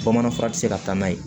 Bamanan fura ti se ka taa n'a ye